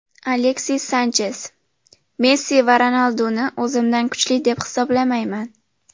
Aleksis Sanches: Messi va Ronalduni o‘zimdan kuchli deb hisoblamayman.